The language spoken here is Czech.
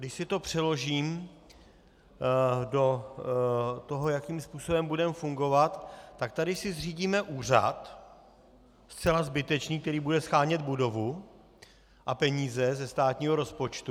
Když si to přeložím do toho, jakým způsobem budeme fungovat, tak tady si zřídíme úřad, zcela zbytečný, který bude shánět budovu a peníze ze státního rozpočtu.